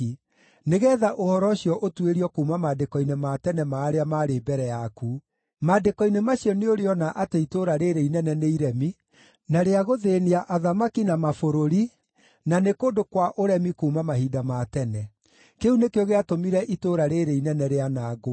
nĩgeetha ũhoro ũcio ũtuĩrio kuuma maandĩko-inĩ ma tene ma arĩa maarĩ mbere yaku. Maandĩko-inĩ macio nĩũrĩona atĩ itũũra rĩĩrĩ inene nĩ iremi, na rĩa gũthĩĩnia athamaki na mabũrũri, na nĩ kũndũ kwa ũremi kuuma mahinda ma tene. Kĩu nĩkĩo gĩatũmire itũũra rĩĩrĩ inene rĩanangwo.